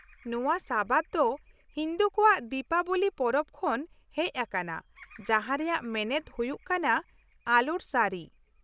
-ᱱᱚᱶᱟ ᱥᱟᱵᱟᱫ ᱫᱚ ᱦᱤᱱᱫᱩ ᱠᱚᱣᱟᱜ ᱫᱤᱯᱟᱵᱚᱞᱤ ᱯᱚᱨᱚᱵ ᱠᱷᱚᱱ ᱦᱮᱪ ᱟᱠᱟᱱᱟ, ᱡᱟᱦᱟᱸ ᱨᱮᱭᱟᱜ ᱢᱮᱱᱮᱫ ᱦᱩᱭᱩᱜ ᱠᱟᱱᱟ 'ᱟᱞᱳᱨ ᱥᱟᱹᱨᱤ' ᱾